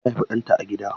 Ta haifi ɗanta a gida.